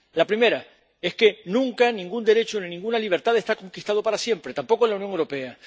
La primera es que nunca ningún derecho ni ninguna libertad está conquistado para siempre, tampoco en la Unión Europea.